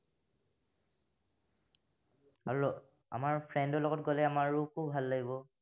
আৰু, আমাৰ friend ৰ লগত গলে আমাৰো খুব লাগিব।